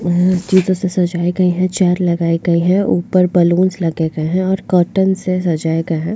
वह सजाये गए है चेयर लगये गए है ऊपर बलून्स लगे हुए है और कॉटन से सजाये गए है।